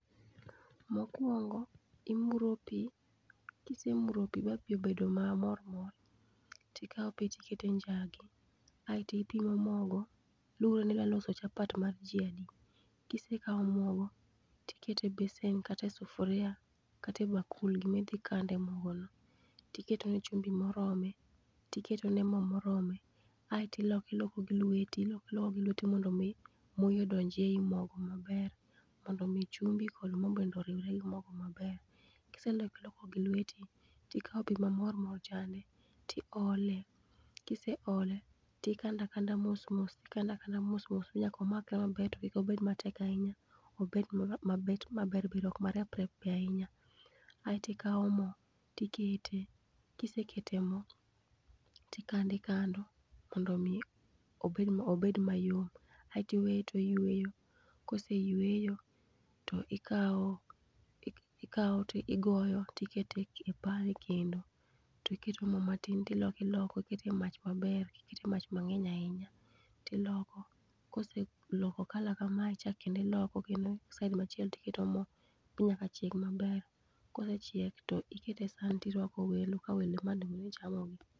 Mokuongo imuro pi, kisemuro pi ba pi osebedo ma mor mor, tikao pi tikete e njagi kaeto ipimo mogo, luwore ni idwa loso chapat mar ji adi. Kisekao mogo kikete e besen kata e sufria kata e bakul, gima idhi kande mogo no. Tiketo ne chumbi morome, tiketo ne mo morome, kaeto iloko loko gi lweti, iloko iloko gi lweti mondo mi moi odonj ei mogo maber, mondo mi chumbi kod mo bende oriure gi mogo maber. Kiseloko iloko gi lweti, ikao pi ma moro mor chande tiole, kiseole tikanda kanda mos mos, ikanda kanda mos mos ma nyaka omakre maber to kik obed matek ahinya obed mabo mabet maber bere ok marep rep be ahinya, ae tikao mo tikete, kisekete mo tikando ikando mondo mi obed mayom, aeto iweye oyweyo, koseyweyo to ikao ikao to igoyo tikete ek e pan e kendo, tiketo mo matin to iloko iloko tikete mach maber ok ikete mach mang'eny ahinya, tiloko koseloko colour kamae kendo iloko kendo side machielo to iketo mo ma nyaka chieg maber. Kosechiek to ikete e san to irwako welo ka welo emane onego bed ni chamo gi.